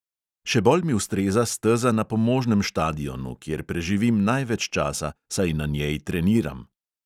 Še bolj mi ustreza steza na pomožnem štadionu, kjer preživim največ časa, saj na njej treniram.